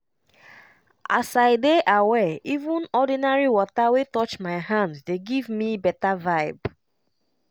as i dey aware even ordinary water wey touch my hand dey give me better vibe.